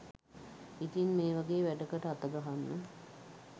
ඉතින් මේ වගේ වැඩකට අතගහන්න